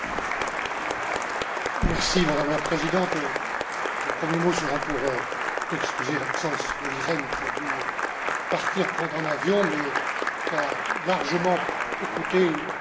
Madame la Présidente, mes premiers mots seront pour excuser l'absence d'Olli Rehn, qui a dû partir prendre un avion, mais qui a largement écouté l'essentiel de vos interventions.